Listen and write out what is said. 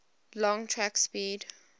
long track speed